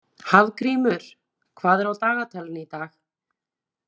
Hafgrímur, hvað er í dagatalinu í dag?